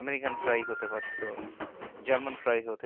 american fry হতে পারতো german fry হতে পারতো।